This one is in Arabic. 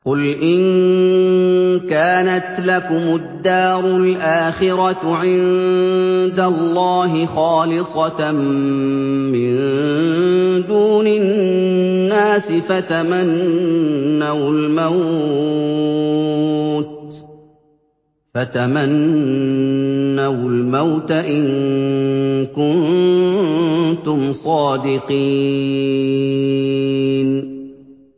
قُلْ إِن كَانَتْ لَكُمُ الدَّارُ الْآخِرَةُ عِندَ اللَّهِ خَالِصَةً مِّن دُونِ النَّاسِ فَتَمَنَّوُا الْمَوْتَ إِن كُنتُمْ صَادِقِينَ